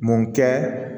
Mun kɛ